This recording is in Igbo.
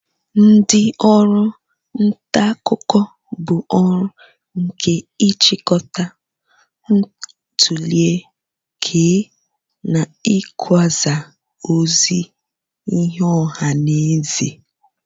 Ndị ọrụ nta akụkọ bụ orụ nke ị chịkọta, ntule, kee, na ikwasa ozi nye ọha na eze.